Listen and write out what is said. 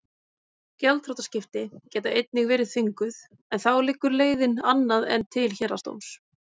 Gjaldþrotaskipti geta einnig verið þvinguð en þá liggur leiðin annað en til héraðsdóms.